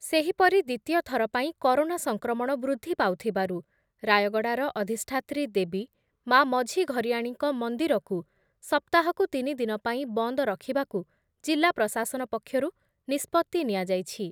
ସେହିପରି ଦ୍ବିତୀୟଥର ପାଇଁ କରୋନା ସଂକ୍ରମଣ ବୃଦ୍ଧି ପାଉଥିବାରୁ ରାୟଗଡ଼ାର ଅଧିଷ୍ଠାତ୍ରୀ ଦେବୀ ମା' ମଝିଘରିଆଣୀଙ୍କ ମନ୍ଦିରକୁ ସପ୍ତାହକୁ ତିନି ଦିନ ପାଇଁ ବନ୍ଦ ରଖିବାକୁ ଜିଲ୍ଲା ପ୍ରଶାସନ ପକ୍ଷରୁ ନିଷ୍ପତ୍ତି ନିଆଯାଇଛି ।